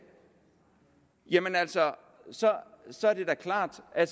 jamen altså så er det da klart at